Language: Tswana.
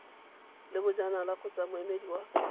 le bojanala kgotsa moemedi wa